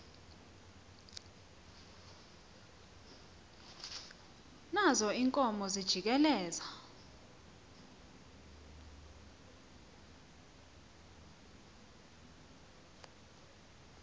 nazo iinkomo zijikeleza